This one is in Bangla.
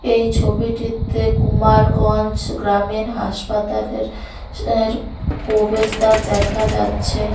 এই ছবিটিতে কুমারগঞ্জ গ্রামিন হাসপাতালের এর প্রবেশদ্বার দেখা যাচ্ছে।